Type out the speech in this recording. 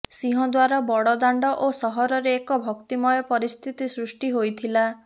ସିଂହଦ୍ୱାର ବଡଦାଣ୍ଡ ଓ ସହରରେ ଏକ ଭକ୍ତିମୟ ପରିସ୍ଥିତି ସୃଷ୍ଟି ହୋଇଥିଲା